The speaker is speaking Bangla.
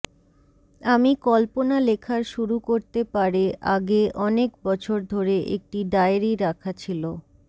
আমি কল্পনা লেখার শুরু করতে পারে আগে অনেক বছর ধরে একটি ডায়েরি রাখা ছিল